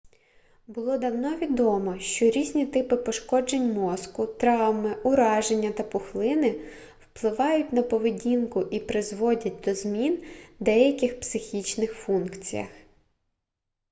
було давно відомо що різні типи пошкоджень мозку травми ураження та пухлини впливають на поведінку і призводять до змін у деяких психічних функціях